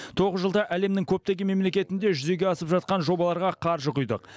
тоғыз жылда әлемнің көптеген мемлекетінде жүзеге асып жатқан жобаларға қаржы құйдық